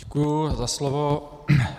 Děkuji za slovo.